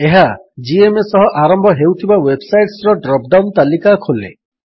ଏହା ଜିଏମଏ ସହ ଆରମ୍ଭ ହେଉଥିବା ୱେବ୍ ସାଇଟ୍ସର ଡ୍ରପ୍ ଡାଉନ୍ ତାଲିକା ଖୋଲେ